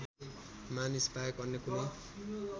मानिसबाहेक अन्य कुनै